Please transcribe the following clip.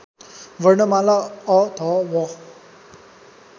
वर्णमाला अ ध व